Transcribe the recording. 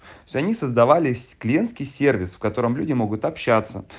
за них создавались клиентский сервис в котором люди могут общаться